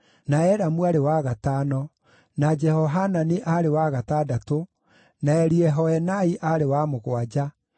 na Elamu aarĩ wa gatano, na Jehohanani aarĩ wa gatandatũ, na Eliehoenai aarĩ wa mũgwanja.